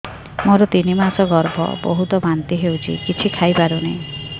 ମୋର ତିନି ମାସ ଗର୍ଭ ବହୁତ ବାନ୍ତି ହେଉଛି କିଛି ଖାଇ ପାରୁନି